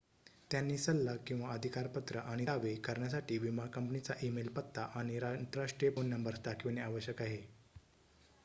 त्यांनी सल्ला/अधिकारपत्र आणि दावे करण्यासाठी विमा कंपनीचा ई-मेल पत्ता आणि आंतरराष्ट्रीय फोन नंबर्स दाखविणे आवश्यक आहे